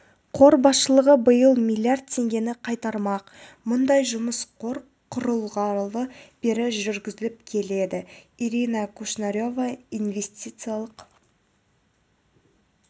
қор басшылығы биыл миллиард теңгені қайтармақ мұндай жұмыс қор құрылғалы бері жүргізіліп келеді ирина кушнарева инвестициялық